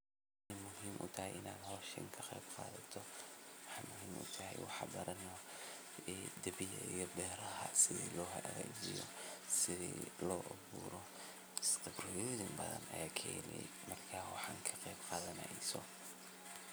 waxay muhiim u tahay inaad hawshaan ka qeyb qaadato dibiyada beeraha sida loogu hagaajiyo , sida loo beero khibraddo badan ayaad ka hele markaad waxaan ka qeyb qaadaneyso